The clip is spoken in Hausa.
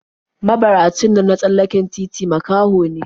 Mabaracin nan na tsallaken titi makaho ne/